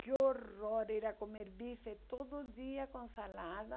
Que horror, ir a comer bife todo dia com salada.